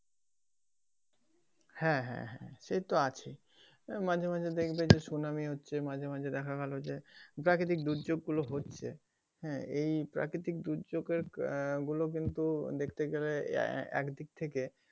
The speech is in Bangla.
হ্যাঁ হ্যাঁ হ্যাঁ সেত আছেই তা মাঝে মাঝে দেখবে যে tsunami হচ্ছে মাঝে মাঝে দেখা গেলো যে প্রাকৃতিক দুর্যোগ গুলো হচ্ছে হ্যাঁ এই প্রাকৃতিক দুর্যোগ এর কারনে ওগুলো কিন্তু এক দিক থেকে দেখতে গেলে,